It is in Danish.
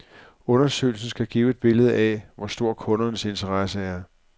Undersøgelsen skal give et billede af, hvor stor kundernes interesse er.